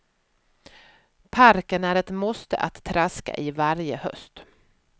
Parken är ett måste att traska i varje höst.